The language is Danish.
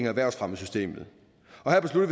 erhvervsfremmesystemet